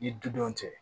I dudenw cɛ